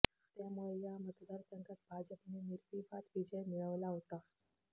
त्यामुळे या मतदारसंघात भाजपने निर्विवाद विजय मिळवला होता